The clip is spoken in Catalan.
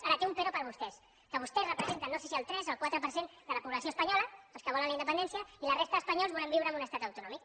ara té un però per a vostès que vostès representen no sé si el tres o el quatre per cent de la població espanyola els que volen la independència i la resta d’espanyols volem viure en un estat autonòmic